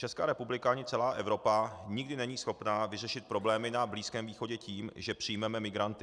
Česká republika ani celá Evropa nikdy není schopna vyřešit problémy na Blízkém východě tím, že přijmeme migranty.